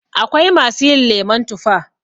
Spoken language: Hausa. Akwai masu yin lemon tufa.